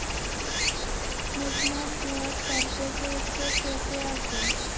মেঘনাদ বধ কাব্য চরিত্রে কে কে আছে?